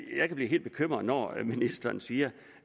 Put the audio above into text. jeg kan blive helt bekymret når ministeren siger